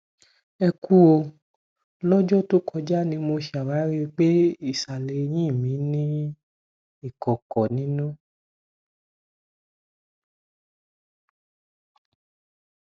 ẹ kú o lọjọ tó kọjá ni mo ṣàwárí pé ìsàlẹ ẹyìn mi ní ìkòkò nínú